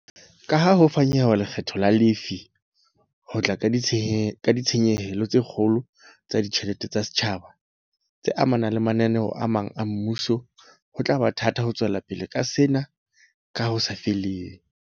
Kaha ho fanyehwa ha lekgetho la lefii ho tla ka ditshenyehelo tse kgolo tsa ditjhelete tsa setjhaba, tse amang mananeo a mang a mmuso, ho tla ba thata ho tswelapele ka sena ka ho sa feleng.